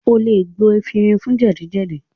O lè gbo efinrin fún jẹ́dì-jẹ́dì